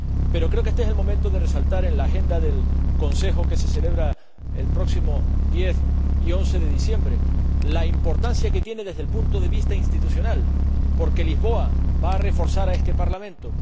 Pero creo que éste es el momento de resaltar —en la agenda del Consejo que se celebra los próximos días 10 y 11 de diciembre— la importancia que tiene desde el punto de vista institucional, porque Lisboa va a reforzar este Parlamento.